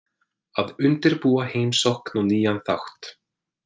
Að undirbúa heimsókn og nýjan þátt